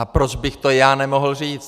A proč bych to já nemohl říct?